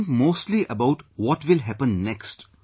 They think mostly about what will happen next